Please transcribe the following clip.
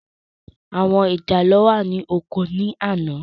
Àwọn ìjàlọ́ wà ní oko ní àná.